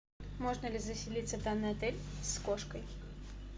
можно ли заселиться в данный отель с кошкой